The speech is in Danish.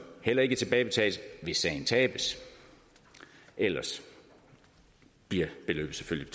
heller ikke tilbagebetales hvis sagen tabes ellers bliver beløbet selvfølgelig